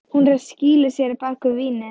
Hún er að skýla sér á bak við vínið.